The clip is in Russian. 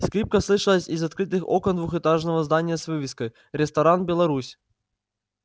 скрипка слышалась из открытых окон двухэтажного здания с вывеской ресторан беларусь